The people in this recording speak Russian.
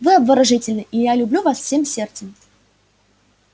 вы обворожительны и я люблю вас всем сердцем